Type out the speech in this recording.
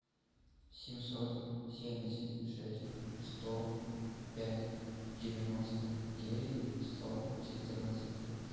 семьсот семьдесят шесть сто пять девяносто девять сто четырнадцать